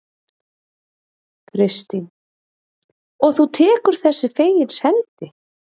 Kristín: Og þú tekur þessu fegins hendi?